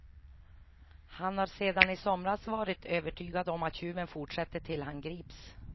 Han har sedan i somras varit övertygad om att tjuven fortsätter tills han grips.